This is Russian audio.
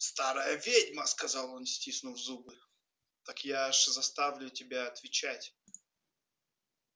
старая ведьма сказал он стиснув зубы так я ж заставлю тебя отвечать